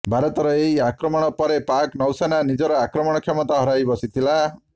ଭାରତର ଏହି ଆକ୍ରମଣ ପରେ ପାକ୍ ନୌସେନା ନିଜର ଆକ୍ରମଣ କ୍ଷମତା ହରାଇବସିଥିଲା